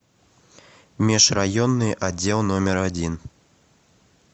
межрайонный отдел номер один